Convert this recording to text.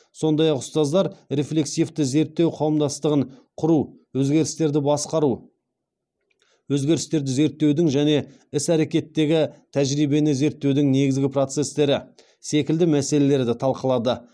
сондай ақ ұстаздар рефлексивті зерттеу қауымдастығын құру өзгерістерді басқару өзгерістерді зерттеудің және іс әрекеттегі тәжірибені зерттеудің негізгі процестері секілді мәселерді талқылады